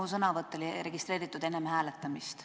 Mu sõnavõtt oli registreeritud enne hääletamist.